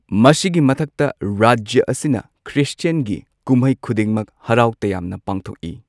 ꯃꯁꯤꯒꯤ ꯃꯊꯛꯇ, ꯔꯥꯖ꯭ꯌꯥ ꯑꯁꯤꯅ ꯈ꯭ꯔꯤꯁꯇꯤꯌꯟꯒꯤ ꯀꯨꯝꯍꯩ ꯈꯨꯗꯤꯡꯃꯛ ꯍꯔꯥꯎ ꯇꯌꯥꯝꯅ ꯄꯥꯡꯊꯣꯛꯏ꯫